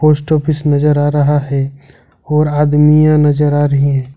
Post office नजर आ रहा है और आदमीया नजर आ रहे है।